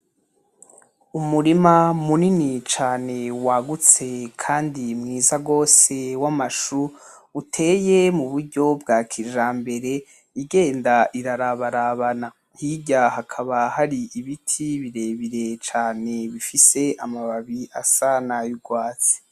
Umurima munini cane wagutse Kandi mwiza gose w’amashu uteye mu buryo bwa kijambere igenda irarabarabana. Hirya hakaba hari ibiti birebire cane bifise amababi asa n’ay’urwatsi.